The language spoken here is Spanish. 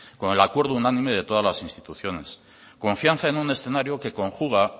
con el acuerdo unánime de todas las instituciones confianza en un escenario que conjuga